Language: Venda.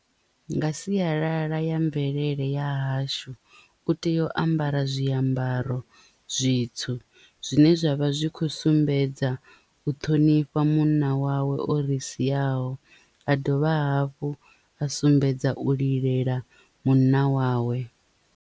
Nga sialala ya mvelele ya hashu u tea u ambara zwiambaro zwitswu zwine zwavha zwi kho sumbedza u ṱhonifha munna wawe o ri siaho a dovha hafhu a sumbedza u lilela munna wawe.